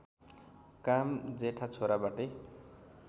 काम जेठा छोराबाटै